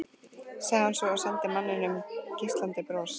sagði hún svo og sendi manninum geislandi bros.